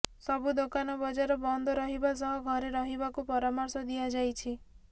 ସବୁ ଦୋକାନ ବଜାର ବନ୍ଦ ରହିବା ସହ ଘରେ ରହିବାକୁ ପରାମର୍ଶ ଦିଆଯାଇଛି